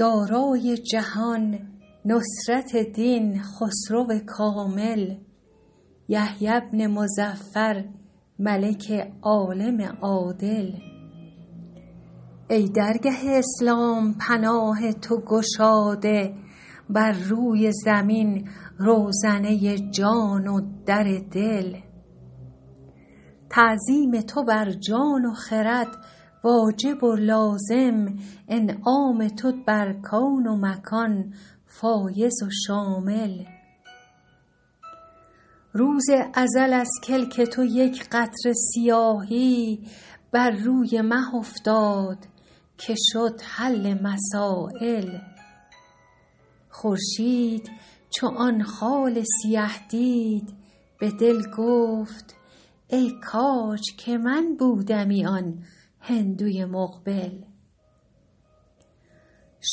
دارای جهان نصرت دین خسرو کامل یحیی بن مظفر ملک عالم عادل ای درگه اسلام پناه تو گشاده بر روی زمین روزنه جان و در دل تعظیم تو بر جان و خرد واجب و لازم انعام تو بر کون و مکان فایض و شامل روز ازل از کلک تو یک قطره سیاهی بر روی مه افتاد که شد حل مسایل خورشید چو آن خال سیه دید به دل گفت ای کاج که من بودمی آن هندوی مقبل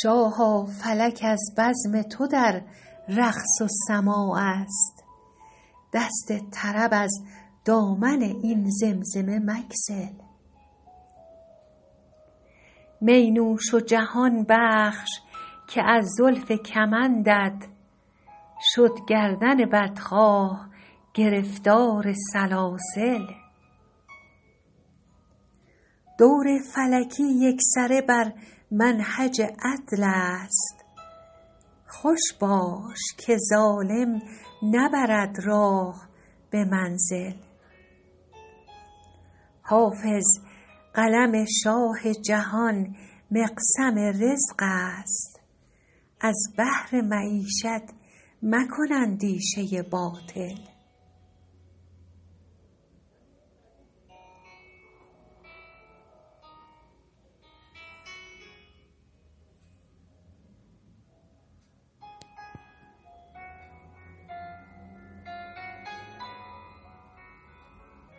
شاها فلک از بزم تو در رقص و سماع است دست طرب از دامن این زمزمه مگسل می نوش و جهان بخش که از زلف کمندت شد گردن بدخواه گرفتار سلاسل دور فلکی یکسره بر منهج عدل است خوش باش که ظالم نبرد راه به منزل حافظ قلم شاه جهان مقسم رزق است از بهر معیشت مکن اندیشه باطل